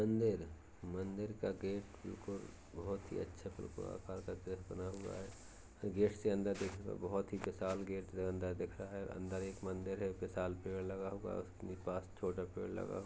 मन्दिर मन्दिर का गेट बिल्कुल बहुत ही अच्छा त्रिकोण आकार का गेट बना हुआ है। गेट से अंदर देखने पर बहुत ही विशाल गेट से अंदर दिख रहा है। अंदर एक मन्दिर है विशाल पेड़ लगा हुआ उसके पास छोटा पेड़ लगा --